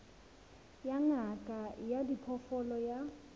ya ngaka ya diphoofolo ya